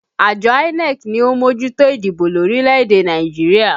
Àjọ INEC ni ó ń mójútó ìdìbò lórílẹ̀ èdè Nàìjíríà